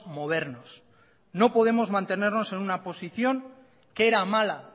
movernos no podemos mantenernos en una posición que era mala